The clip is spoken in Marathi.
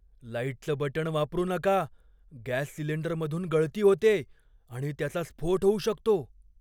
लाईटचं बटण वापरू नका. गॅस सिलिंडरमधून गळती होतेय आणि त्याचा स्फोट होऊ शकतो.